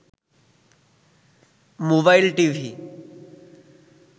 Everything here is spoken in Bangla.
mobile TV